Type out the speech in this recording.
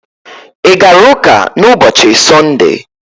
I gara ụka na ụbọchị sunde?